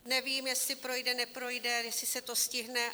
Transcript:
Nevím, jestli projde, neprojde, jestli se to stihne.